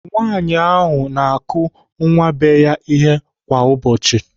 Nwaanyị ahụ na-akụ nwa be ya ihe kwa ụbọchị.